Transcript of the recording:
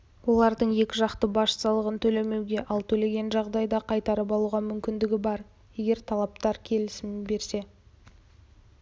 олардың екіжақты баж салығын төлемеуге ал төлеген жағдайда қайтарып алуға мүмкіндігі бар егер тараптар келісімін берсе